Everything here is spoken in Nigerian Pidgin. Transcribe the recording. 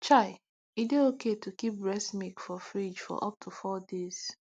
chai e dey okay to keep breast milk for fridge for up to four days